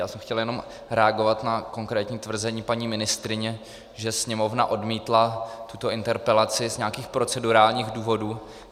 Já jsem chtěl jenom reagovat na konkrétní tvrzení paní ministryně, že Sněmovna odmítla tuto interpelaci z nějakých procedurálních důvodů.